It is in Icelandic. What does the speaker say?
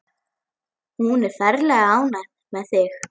Hún er ferlega ánægð með þig.